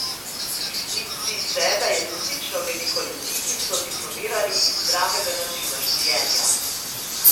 In zdi se, da je resnično veliko ljudi, ki so diplomirali iz zdravega načina življenja.